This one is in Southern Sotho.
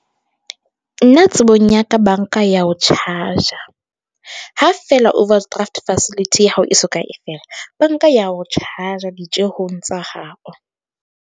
Nna tsebong ya ka bank-a ya o tjhaja ha fela overdraft facility ya hao e so ka e fela bank-a ya o tjhaja ditjehong tsa hao.